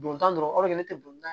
Don tan dɔrɔn o de bɛ ne tɛ don